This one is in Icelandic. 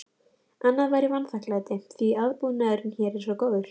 Annað væri vanþakklæti, því aðbúnaðurinn hér er svo góður.